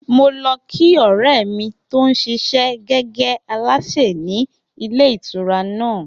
Mo lo̩ kí ò̩ré̩ mi tó ń s̩is̩é̩ gé̩gé̩ alásè ní ilé ìtura náà